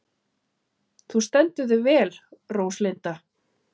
Þú stendur þig vel, Róslinda!